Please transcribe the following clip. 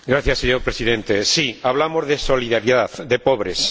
Señor Presidente, sí, hablamos de solidaridad, de pobres.